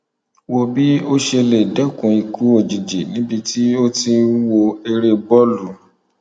wo bí o ṣe lè dẹkun ikú òjijì níbi tí o ti ń wọ eré bọọlù